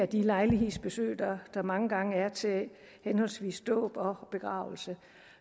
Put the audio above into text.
de lejlighedsbesøg der mange gange er til henholdsvis dåb og begravelse